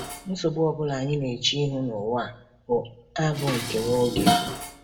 Nsogbu ọ bụla anyị na-eche ihu n’ụwa a bụ a bụ nke nwa oge.